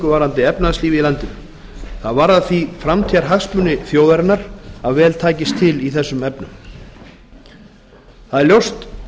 varðandi efnahagslífið í landinu það varðar því framtíðarhagsmuni þjóðarinnar að vel takist til í þessum efnum það er ljóst